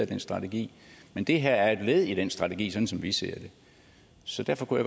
den strategi men det her er et led i den strategi sådan som vi ser det så derfor kunne